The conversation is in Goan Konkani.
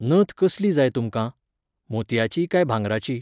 नथ कसली जाय तुमकां? मोतयाची काय भांगराची?